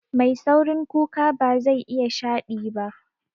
Mai saurin kuka bazai iya shaɗi ba